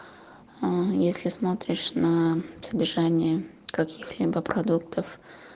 если смотришь на содержание каких хлебопродуктов